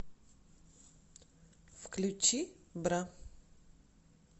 включи бра